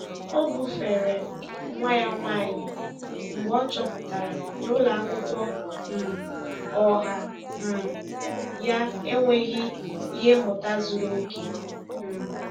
Ọ bufere nwa ya nwanyị mgbe ọ chọpụtara na ụlọ akwụkwọ um ọha um ya enweghị ihe mmụta zuru oke. um